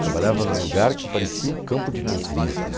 Trabalhava em um lugar que parecia o campo de nazismo.